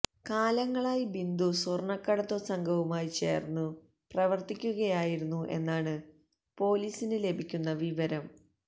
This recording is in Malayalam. കാലങ്ങളായി ബിന്ദു സ്വര്ണ്ണക്കടത്തു സംഘവുമായി ചേര്ന്നു പ്രവര്ത്തിക്കുകയായിരുന്നു എന്നാണ് പൊലീസിന് ലഭിക്കുന്ന വിവരം